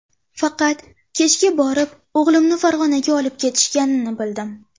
Faqat kechga borib o‘g‘limni Farg‘onaga olib ketishganini bildim.